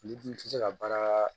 N'i dun tɛ se ka baara